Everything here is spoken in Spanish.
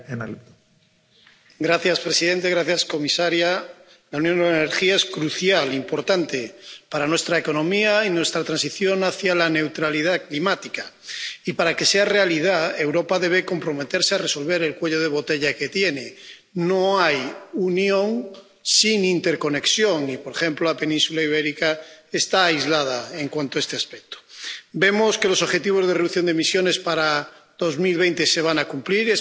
Señor presidente, señora comisaria, la Unión de la Energía es crucial e importante para nuestra economía y nuestra transición hacia la neutralidad climática y, para que sea realidad, Europa debe comprometerse a resolver el cuello de botella que tiene. No hay unión sin interconexión y, por ejemplo, la península Ibérica está aislada en cuanto a este aspecto. Vemos que los objetivos de reducción de emisiones para 2020 se van a cumplir.